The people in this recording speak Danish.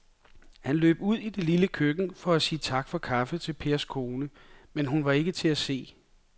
Han løb ud i det lille køkken for at sige tak for kaffe til Pers kone, men hun var ikke til at se.